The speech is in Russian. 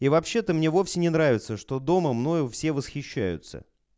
и вообще то мне вовсе не нравится что дома мною все восхищаются